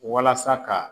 Walasa ka